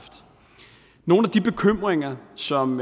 nogle af de bekymringer som